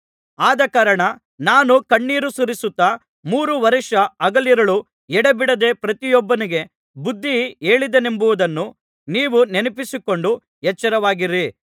ಆದಕಾರಣ ನಾನು ಕಣ್ಣೀರು ಸುರಿಸುತ್ತಾ ಮೂರು ವರ್ಷ ಹಗಲಿರುಳು ಎಡೆಬಿಡದೆ ಪ್ರತಿಯೊಬ್ಬನಿಗೆ ಬುದ್ಧಿ ಹೇಳಿದೆನೆಂಬುದನ್ನು ನೀವು ನೆನಪಿಸಿಕೊಂಡು ಎಚ್ಚರವಾಗಿರಿ